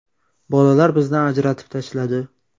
Bolalar bizni ajratib tashladi.